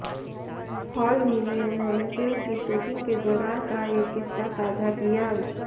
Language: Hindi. हाल ही में उन्होंने फिल्म की शूटिंग के दौरान का एक किस्सा साझा किया